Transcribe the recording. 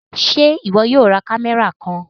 Ṣe iwọ yóò rá kámẹ́rà kàn?